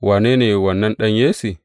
Wane ne wannan ɗan Yesse?